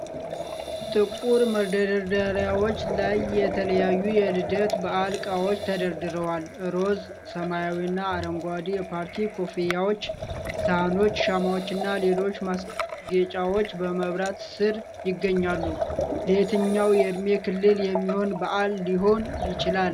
ጥቁር መደርደሪያዎች ላይ የተለያዩ የልደት በዓል እቃዎች ተደርድረዋል። ሮዝ፣ ሰማያዊና አረንጓዴ የፓርቲ ኮፍያዎች፣ ሳህኖች፣ ሻማዎችና ሌሎች ማስጌጫዎች በመብራት ስር ይገኛሉ። ለየትኛው የዕድሜ ክልል የሚሆን በዓል ሊሆን ይችላል?